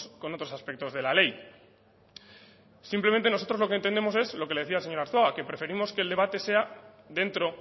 con otros aspectos de la ley simplemente nosotros lo que entendemos es lo que le decía al señor arzuaga que preferimos que el debate sea dentro